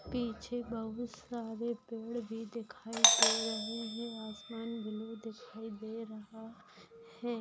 पिछे बहुत सारे पेड़ भी दिखाई दे रहे है। आसमान ब्लू दिखाई दे रहा है।